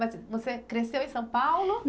Mas você cresceu em São Paulo?